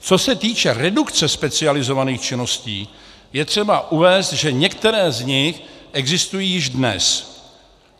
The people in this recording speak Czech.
Co se týče redukce specializovaných činností, je třeba uvést, že některé z nich existují již dnes.